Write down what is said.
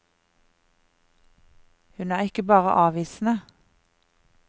Hun er ikke bare avvisende.